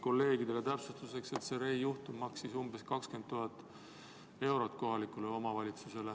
Kolleegidele täpsustuseks, et see Rey juhtum maksis kohalikule omavalitsusele umbes 20 000 eurot.